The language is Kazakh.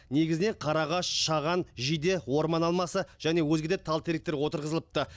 негізінен қарағаш шаған жиде орман алмасы және өзге де тал теректер отырғызылыпты